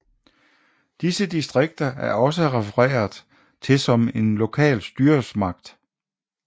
Disse distrikter er også refereret til som en lokal styresmagt